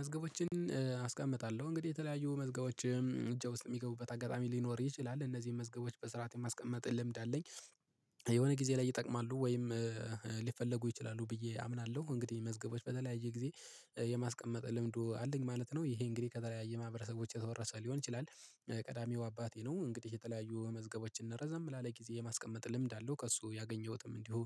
መዝገቦችን አስቀምጣለሁ እንግዲህ የተለያዩ መዝገቦች እጄ ውስጥ የሚገቡበት አጋጣሚ ሊኖር ይችላል እነዚህን መዝገቦች በስርዓት የማስቀምጥ ልምድ አለኝ። የሆነ ጊዜ ላይ ይጠቅማሉ ወይም ሊፈለጉ ይችላሉ ብዬ አምናለሁ። እንግዲህ መዝገቦች በተለያየ ጊዜ የማስቀመጥ ልምዱ አለኝ ማለት ነው። ይሄ እንግዲህ ከተለያየ ማህበረሰቦች የተወረሰ ሊሆን ይችላል። ቀዳሚው አባቴ ነው። እንግዲህ የተለያዩ መዝገቦችን ረዛም ላለ ጊዜ የማስቀመጥ ልምድ አለው ከእሱ ያገኘሁትም እንዲሁ